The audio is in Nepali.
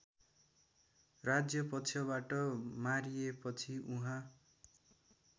राज्यपक्षबाट मारिएपछि उहाँ